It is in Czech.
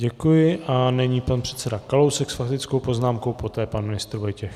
Děkuji a nyní pan předseda Kalousek s faktickou poznámkou, poté pan ministr Vojtěch.